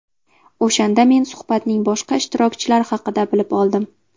O‘shanda men suhbatning boshqa ishtirokchilari haqida bilib oldim”.